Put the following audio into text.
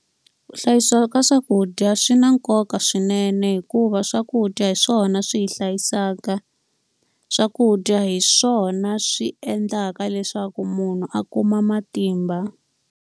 Ku hlayisiwa ka swakudya swi na nkoka swinene hikuva swakudya hi swona swi hi hlayisaka. Swakudya hi swona swi endlaka leswaku munhu a kuma matimba.